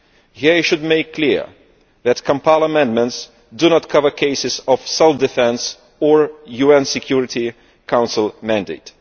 Here I should make clear that the Kampala amendments do not cover cases of self defence or a UN Security Council mandate.